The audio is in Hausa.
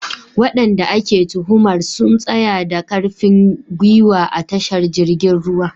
Wadanda ake tuhumar sun tsaya da karfin gwiwa a tashar jirgin ruwa.